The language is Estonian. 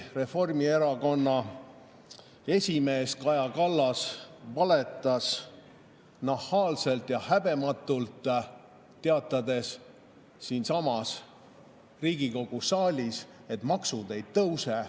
Reformierakonna esimees Kaja Kallas valetas nahaalselt ja häbematult, teatades siinsamas Riigikogu saalis, et maksud ei tõuse.